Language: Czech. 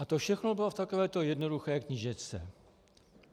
A to všechno bylo v takovéto jednoduché knížečce.